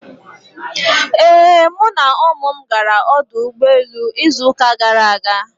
Ee, mụ na ụmụ m gara ọdụ ụgbọ elu izu uka gara aga.